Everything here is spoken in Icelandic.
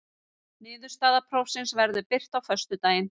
Niðurstaða prófsins verður birt á föstudaginn